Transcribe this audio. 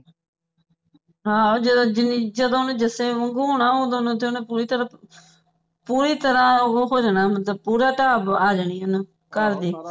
ਹਾਂ ਹਾਂ ਓਹਨੇ ਜਦੋ ਓਹਨੇ ਜਸਕਿਰਨ ਵਾਂਗੋਂ ਹੋਣਾ ਓਦੋਂ ਤਕ ਤਾ ਓਹਨੇ ਪੂਰੀ ਤਰ੍ਹਾਂ ਪੂਰੀ ਤਰ੍ਹਾਂ ਓਹੋ ਹੋ ਜਾਣਾ ਮਤਲਬ ਪੂਰਾ ਢਾਬ ਆ ਜਾਣੀ ਹੈ ਘਰ ਦੀ